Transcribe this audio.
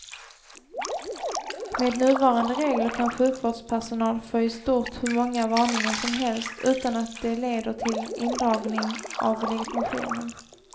Med nuvarande regler kan sjukvårdspersonal få i stort hur många varningar som helst utan att de leder till indragning av legitimationen.